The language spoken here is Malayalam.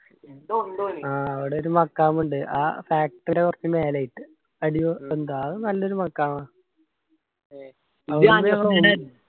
ആ അവിടെ ഒരു മക്കാം ഇണ്ട് ആ factory യെ കൊർച് മേലെ ആയിട്ട്. എന്താ അത് നല്ലൊരു മഖാമാ .